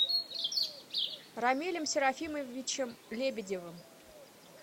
рамилем серафимовичем лебедевым